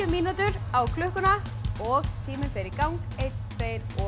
mínútur á klukkuna og tíminn fer í gang einn tveir og